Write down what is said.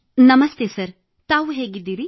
ನಮಸ್ತೆ ಸರ್ ತಾವು ಹೇಗಿದ್ದೀರಿ